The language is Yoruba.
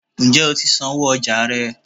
njẹ o tí sánwọ ọja rẹ?